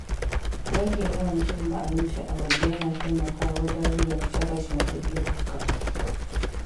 Rage yawan cin abinci a waje yana taimakawa wajen rage kashe kashen kuɗi barkatai.